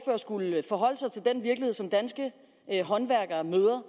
skulle forholde sig til den virkelighed som danske håndværkere møder